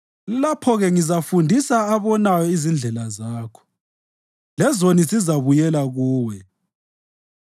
Lapho-ke ngizafundisa abonayo izindlela zakho, lezoni zizabuyela kuwe.